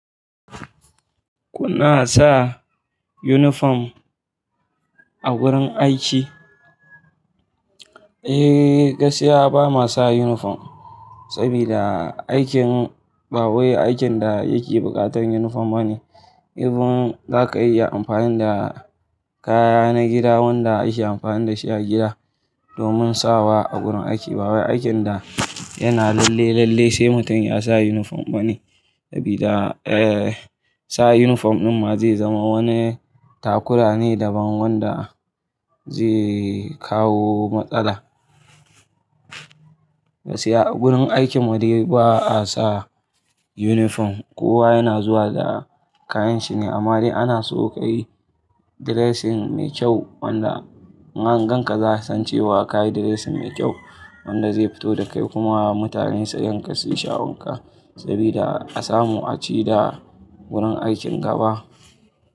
Kuna sa uniform a wurin aiki? Eh, gaskiya ba ma sa uniform saboda aikin ba wai aikin da yake buƙatar uniform bane. Ibin za ka iya amfani da kaya na gida wanda ake amfani da shi a gida domin sawa a gurin aiki. Bawai aikin da yana lalle-lalle sai mutum ya sa uniform bane sabida, eh, sa uniform din ma zai zama wani takura ne daban wanda zai kawo matsala. Gaskiya a gurin aikin mu dai ba a sa uniform. Kowa yana zuwa da kayan shi ne amma dai ana so ka yi dressing mai kyau wanda inangan ka za su san cewa ka yi dressing mai kyau wanda zai fito da kai kuma mutane su ganka suyi sha'awar ka saboda a samu a ci da gurin aikin gaba.